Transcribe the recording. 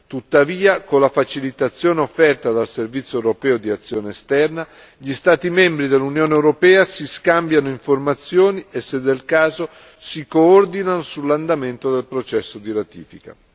Tuttavia, con la facilitazione offerta dal Servizio europeo per l'azione esterna, gli Stati membri dell'Unione europea si scambiano informazioni e, se del caso, si coordinano sull'andamento del processo di ratifica.